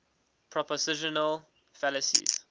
propositional fallacies